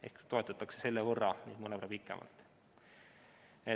Ehk neid toetatakse nüüd mõnevõrra pikemalt.